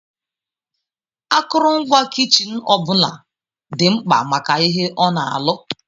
Akụrụngwa kichin ọ bụla dị mkpa maka ihe ona alụ.